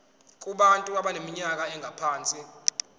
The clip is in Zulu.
kubantu abaneminyaka engaphansi